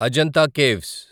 Ajanta caves